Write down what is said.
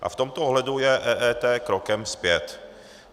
A v tomto ohledu je EET krokem zpět.